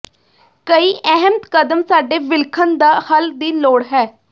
ਕਈ ਅਹਿਮ ਕਦਮ ਸਾਡੇ ਵਿਲੱਖਣ ਦਾ ਹੱਲ ਦੀ ਲੋੜ ਹੈ